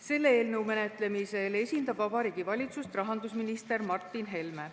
Selle eelnõu menetlemisel esindab Vabariigi Valitsust rahandusminister Martin Helme.